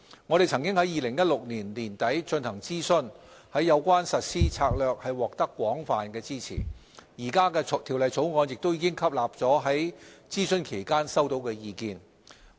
我們曾在2016年年底進行諮詢，有關實施策略獲得廣泛支持，現時的《條例草案》亦已吸納了在諮詢期間內收到的意見。